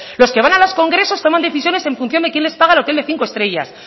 los que van a los congresos toman decisiones en función de quién les paga el hotel de cinco estrellas